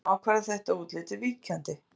Genið sem ákvarðar þetta útlit er víkjandi.